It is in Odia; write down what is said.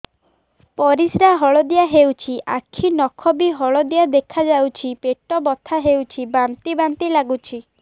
ପରିସ୍ରା ହଳଦିଆ ହେଉଛି ଆଖି ନଖ ବି ହଳଦିଆ ଦେଖାଯାଉଛି ପେଟ ବଥା ହେଉଛି ବାନ୍ତି ବାନ୍ତି ଲାଗୁଛି